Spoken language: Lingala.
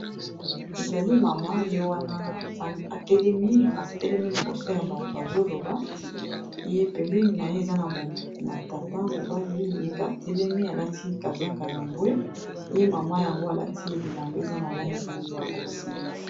ezali mama ye wana atelemi liboso ya bato azoloba ye pembeni na ye eza na tata mobali yepe atelemi alati kazaka ya mbwe ye mama yango alati ye bilanba eza na langi ya bozinga